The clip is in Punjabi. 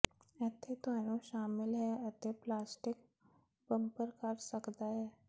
ਇੱਥੇ ਤੁਹਾਨੂੰ ਸ਼ਾਮਿਲ ਹੈ ਅਤੇ ਪਲਾਸਟਿਕ ਬੰਪਰ ਕਰ ਸਕਦਾ ਹੈ